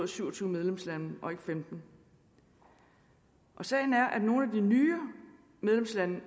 syv og tyve medlemslande og ikke femtende og sagen er at nogle af de nye medlemslande